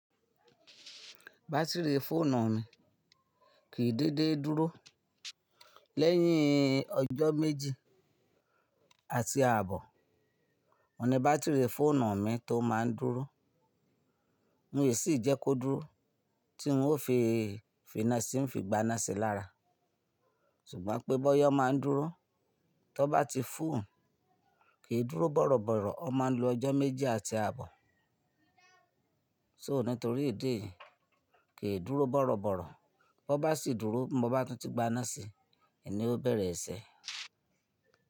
Batiri fóònù mi kìí dédé dúró. Lẹ́yìn ọjọ́ méjì àti ààbọ̀, òun ni bátìrì fóònù mi tó máa ń dúró. N e sì jẹ́ kó dúró tí n ó fi finasi ń fi gbanasi lára. Ṣùgbọ́n pé bọ́yọ̀ máa ń dúró, tó bá ti fún, kì í dúró bọ̀rọ̀bọ̀rọ̀. Ó máa ń lo ọjọ́ méjì àti ààbọ̀. So nítorí ìdí èyí, kì í dúró bọ̀rọ̀bọ̀rọ̀. Ó bá sì dúró bí mo bá ti gbaná si, èní ó bẹ̀rẹ̀ ẹsẹ̀.